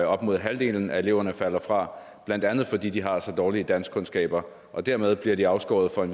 op imod halvdelen af eleverne falder fra blandt andet fordi de har så dårlige danskkundskaber og dermed bliver de afskåret fra at